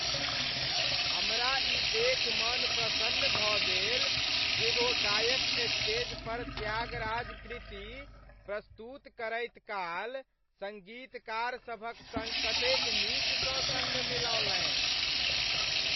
हमरा ई देखि मन प्रसन्न भऽ गेल जे ओ गायक स्टेज पर त्यागराज कृति प्रस्तुत करैत काल सङ्गीतकार सभक संग कतेक नीकसँ सङ्ग मिलौलनि।